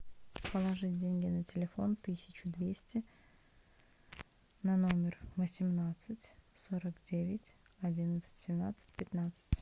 положить деньги на телефон тысячу двести на номер восемнадцать сорок девять одиннадцать семнадцать пятнадцать